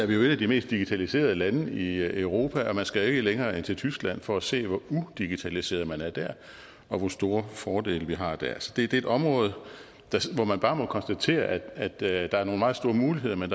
vi jo et af de mest digitaliserede lande i europa og man skal ikke længere end til tyskland for at se hvor udigitaliseret man er der og hvor store fordele vi har der altså det er et område hvor man bare må konstatere at der er nogle meget store muligheder men